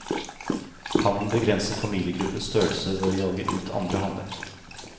Hannen begrenser familiegruppens størrelse ved å jage ut andre hanner.